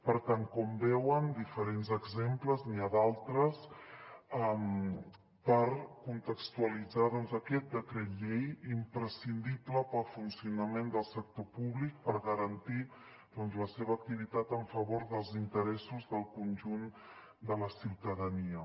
per tant com veuen diferents exemples n’hi ha d’altres per contextualitzar doncs aquest decret llei imprescindible per al funcionament del sector públic per garantir la seva activitat en favor dels interessos del conjunt de la ciutadania